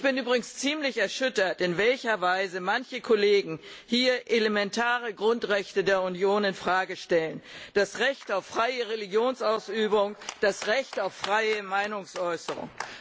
Ich bin übrigens ziemlich erschüttert, in welcher Weise manche Kollegen hier elementare Grundrechte der Union in Frage stellen das Recht auf freie Religionsausübung, das Recht auf freie Meinungsäußerung.